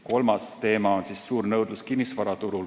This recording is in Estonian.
Kolmas teema on suur nõudlus kinnisvaraturul.